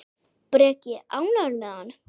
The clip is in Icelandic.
Breki: Ánægður með hann?